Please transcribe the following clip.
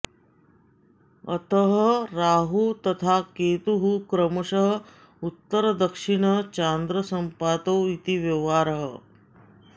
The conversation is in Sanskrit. अतः राहुः तथा केतुः क्रमशः उत्तरदक्षिण चान्द्रसम्पातौ इति व्यवहारः